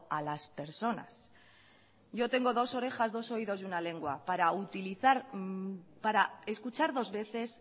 a las personas yo tengo dos orejas dos oídos y una lengua para utilizar para escuchar dos veces